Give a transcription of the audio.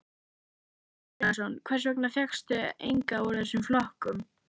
Kristján Már Unnarsson: Hvers vegna fékkstu engan úr þessum flokkum?